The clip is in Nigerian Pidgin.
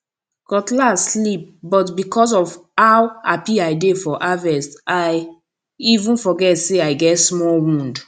cutlass slip but because of how happy i dey for harvest i even forget say i get small wound